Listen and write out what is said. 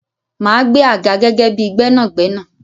Máa gbẹ́ àga gẹ́gẹ́ bíi Gbẹ́nàgbẹ́nà.